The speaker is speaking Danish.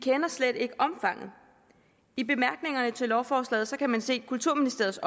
slet ikke kender omfanget i bemærkningerne til lovforslaget otte kan man se kulturministeriets